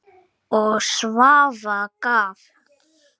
Og Svafa gaf.